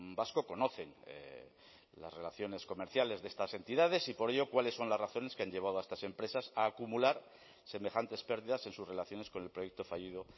vasco conocen las relaciones comerciales de estas entidades y por ello cuáles son las razones que han llevado a estas empresas a acumular semejantes pérdidas en sus relaciones con el proyecto fallido